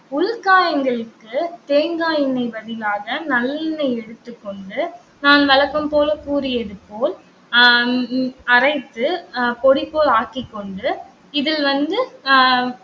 உள்காயங்களுக்கு தேங்காய் எண்ணெய் பதிலாக நல்லெண்ணெய் எடுத்துக்கொண்டு நான் வழக்கம் போல கூறியது போல் அஹ் ஹம் ஹம் அரைத்து அஹ் பொடி போல் ஆக்கிக்கொண்டு இதில் வந்து அஹ்